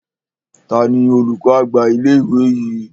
Tani olùkọ́ àgbà ilé ìwé yìí?